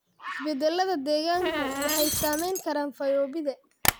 Isbeddellada deegaanku waxay saamayn karaan fayoobida.